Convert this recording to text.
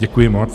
Děkuji moc.